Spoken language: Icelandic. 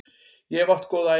Ég hef átt góða ævi.